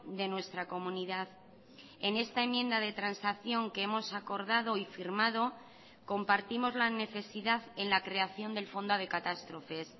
de nuestra comunidad en esta enmienda de transacción que hemos acordado y firmado compartimos la necesidad en la creación del fondo de catástrofes